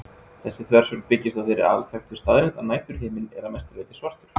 Þessi þversögn byggist á þeirri alþekktu staðreynd að næturhiminninn er að mestu leyti svartur.